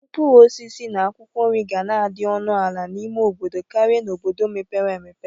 Mkpụrụosisi na akwụkwọ nri ga na-adị ọnụ ala n'ime obodo Kari n"obodo mepere emepe.